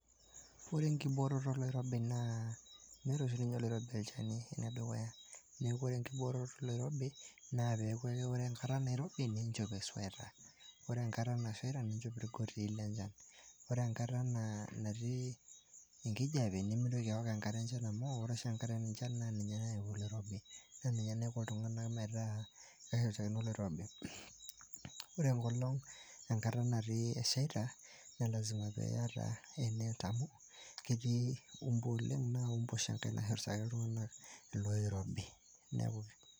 Ore enkibooroto oloirobi naa peeku ake ore enkata nairobi niinchop esweta ore enkata nashaita niinchop irgotii le nchan, ore nkata natii enkijiapie nimintoki aaok enkare enchan amu ore oshi enkare enchan naa ninye nayau oloirobi naa ninye naiko iltung'anak metaa keshurtakino oloirobi. Ore enkolong' natii, nashaita naa lasima piiyata e net amu ketii mbu oleng' naa mbu oshi enkae nashurtaki iltung'anak ilooirobi.